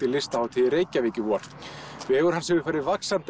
Listahátíð í Reykjavík í vor vegur hans hefur farið vaxandi